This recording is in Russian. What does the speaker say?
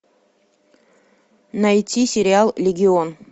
найти сериал легион